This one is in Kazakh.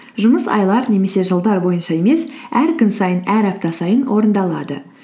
жұмыс айлар немесе жылдар бойынша емес әр күн сайын әр апта сайын орындалады